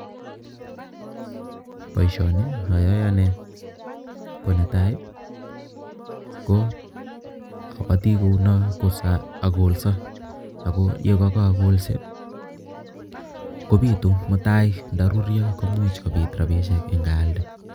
Boisioni ayae ane, ko netai, ko abati kouno ko siakolso ako ye kakolse kobitu mutai ndaruryo kopitu rapishek ngaalde.